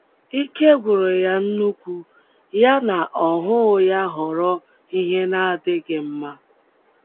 Íkē gwụrụ yá nnukwu, ya na ọhụụ yá ghọrọ ihe na-adịghị mma